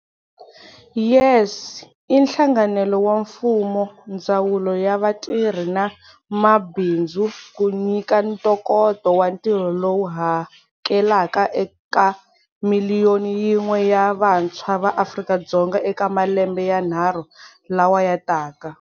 YES i nhlanganelo wa mfumo, ndzawulo ya vatirhi na mabindzu ku nyika ntokoto wa ntirho lowu hakelaka eka miliyoni yin'we ya vantshwa va Afrika-Dzonga eka malembe yanharhu lawa ya taka.